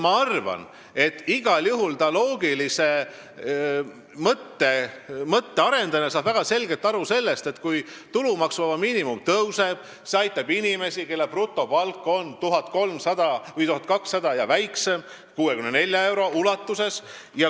Ma arvan, et igal juhul saab ta loogilise mõtte arendajana väga selgelt aru, et kui tulumaksuvaba miinimum tõuseb, siis see aitab inimesi, kelle brutopalk on 1200 eurot või väiksem, 64 euro ulatuses.